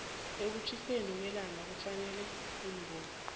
ekutjhiseni kwellangakufuneka iimbuko